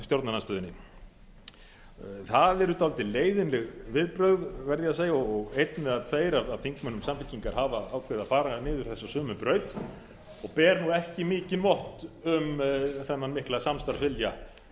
stjórnarandstöðunni það eru dálítið leiðinleg viðbrögð verð ég að segja og einn eða tveir af þingmönnum samfylkingar hafa ákveðið að fara niður þessa sömu braut og ber ekki mikinn vott um þennan mikla samstarfsvilja